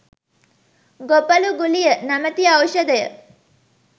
‘‘ගොපළු ගුලිය“ නමැති ඖෂධය